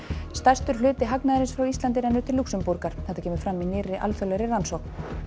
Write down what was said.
stærstur hluti hagnaðarins frá Íslandi rennur til Lúxemborgar þetta kemur fram í nýrri alþjóðlegri rannsókn